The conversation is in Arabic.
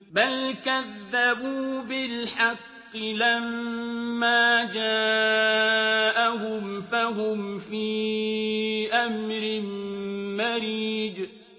بَلْ كَذَّبُوا بِالْحَقِّ لَمَّا جَاءَهُمْ فَهُمْ فِي أَمْرٍ مَّرِيجٍ